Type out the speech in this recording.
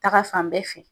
Taga fan bɛɛ fɛ